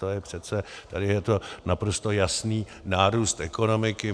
To je přece, tady je to naprosto jasný nárůst ekonomiky.